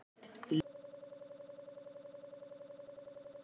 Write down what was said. lest list líst